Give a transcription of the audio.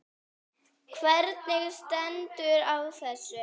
Hvernig stendur á þessu?